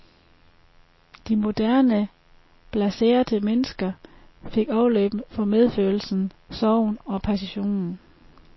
De moderne, blaserte mennesker fik afløb for medfølelsen, sorgen og passionen.